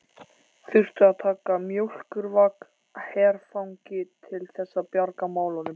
Þurftu að taka mjólkurvagn herfangi til þess að bjarga málunum!